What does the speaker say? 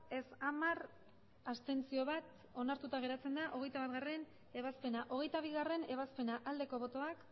ez hamar abstentzioak bat onartuta geratzen da hogeita batgarrena ebazpena hogeita bigarrena ebazpena aldeko botoak